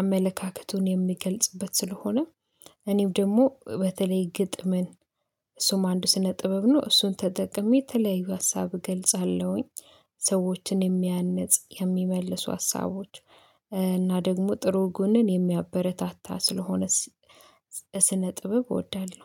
አመለካከቱን የሚገልጽበት ስለሆነ እኔም ደግሞ በተለይ ግጥምን እሱም አንድ ስነ ጥበብ ነው እሱን ተጠቅሜ የተለያዩ ሀሳብ እገልጻለሁኝ ሰዎችን የሚያንጽ የሚመልሱ ሀሳቦች እና ደግሞ ጥሩ ጎንን የሚያበረታታ ስለሆነ ስነ ጥበብ እወዳለሁ